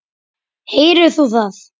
Heyrðir þú það?